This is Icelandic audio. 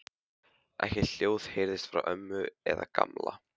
Ekkert hljóð heyrðist frá ömmu eða Gamla.